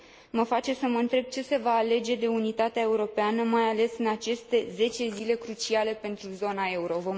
Mă face să mă întreb ce se va alege de unitatea europeană, mai ales în aceste zece zile cruciale pentru zona euro.